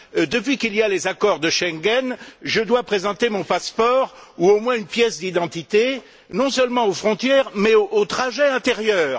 Depuis qu'il y a les accords de Schengen, je dois présenter mon passeport ou au moins une pièce d'identité, non seulement aux frontières, mais aux trajets intérieurs.